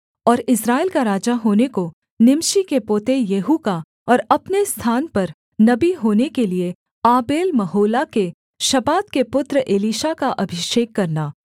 और इस्राएल का राजा होने को निमशी के पोते येहू का और अपने स्थान पर नबी होने के लिये आबेलमहोला के शापात के पुत्र एलीशा का अभिषेक करना